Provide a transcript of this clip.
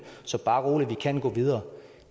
så bare rolig vi kan gå videre